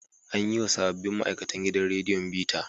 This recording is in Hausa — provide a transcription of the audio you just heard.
An yiwa sabbin ma'aikatn gidan radiyon bita.